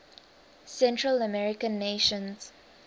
central american nations